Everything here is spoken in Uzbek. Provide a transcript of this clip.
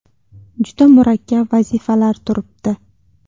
Juda murakkab vazifalar turibdi.